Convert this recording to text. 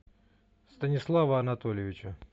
станислава анатольевича